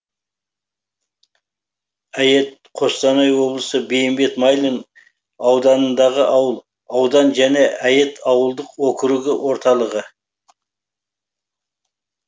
әйет қостанай облысы бейімбет майлин ауданындағы ауыл аудан және әйет ауылдық округі орталығы